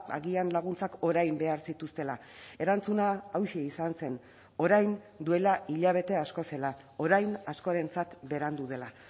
agian laguntzak orain behar zituztela erantzuna hauxe izan zen orain duela hilabete asko zela orain askorentzat berandu dela